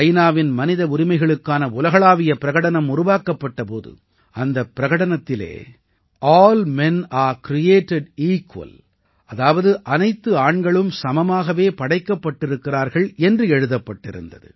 நாவின் மனித உரிமைகளுக்கான உலகளாவிய பிரகடனம் உருவாக்கப்பட்ட போது அந்தப் பிரகடனத்தில் all men are created equal அதாவது அனைத்து ஆண்களும் சமமாகவே படைக்கப்பட்டிருக்கிறார்கள் என்று எழுதப்பட்டிருந்தது